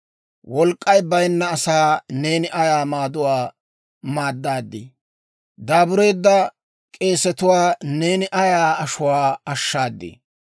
«Wolk'k'ay bayinna asaa neeni ayaa maaduwaa maaddadii! Daabureedda k'esetuwaa neeni ayaa ashuwaa ashshaadii!